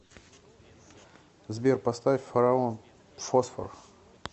сбер поставь фараон фосфор